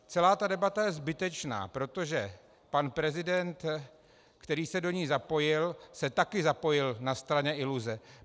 Celá ta debata je zbytečná, protože pan prezident, který se do ní zapojil, se také zapojil na stranu iluze.